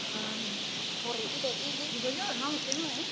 gore e be e le